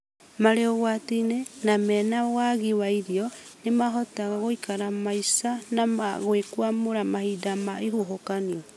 marĩ ũgwati-inĩ na mena wagi wa irio nĩ mahota gũikara maica na gwĩkũamũra mahinda ma ihuhũkanio